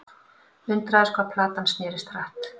Undraðist hvað platan snerist hratt.